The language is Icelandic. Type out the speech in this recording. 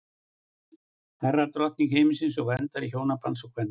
hera var drottning himinsins og verndari hjónabandsins og kvenna